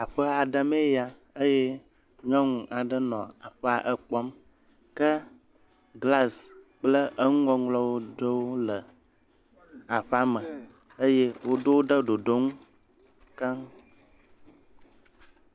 Aƒe aɖe mee ya eye nyɔnu aɖe nɔ aƒea ekpɔ ke glasi kple eŋu ŋɔŋlɔ ɖewo le aƒe me eye woɖo wo ɖe ɖoɖo ŋu keŋ.